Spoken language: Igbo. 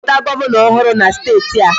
Họpụta Gọvanọ ọhụrụ na steeti a